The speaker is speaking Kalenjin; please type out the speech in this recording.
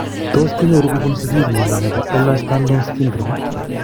Tos kinyoru kobun sigiik mnyondo nebo Ehlers Danlos syndrome ?